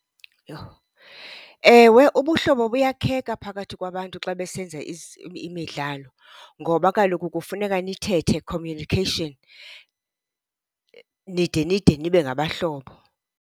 Yho! Ewe, ubuhlobo Buyakheka phakathi kwabantu xa besenza imidlalo ngoba kaloku kufuneka nithethe, communication, nide nide nibe ngabahlobo.